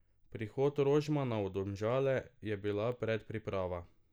Prihod Rožmana v Domžale je bila predpriprava.